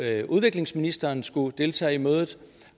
at udviklingsministeren skulle deltage i mødet